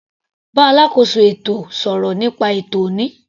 Bá alákóso ètò sọ̀rọ̀ nípa ètò ọ̀ní.